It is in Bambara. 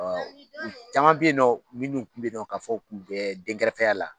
Ɔ caman bɛ yen minnu tun bɛ ka fɔ u tun bɛ dɛnkɛrɛfɛya la